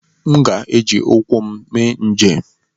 M ga-eji ụkwụ m mee njem.